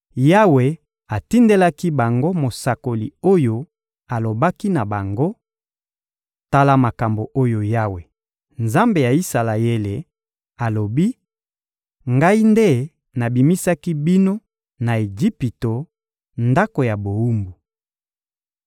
Yawe atindelaki bango mosakoli oyo alobaki na bango: «Tala makambo oyo Yawe, Nzambe ya Isalaele, alobi: ‹Ngai nde nabimisaki bino na Ejipito, ndako ya bowumbu.